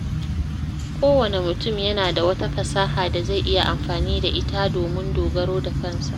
Kowane mutum yana da wata fasaha da zai iya amfana da ita domin dogaro da kansa.